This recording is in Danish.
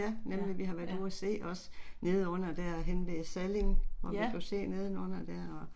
Ja nemlig, vi har været ude og se osse, nede under derhenne ved Salling hvor vi kan se nedenunder der og